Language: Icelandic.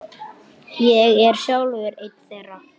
Ég er sjálfur einn þeirra.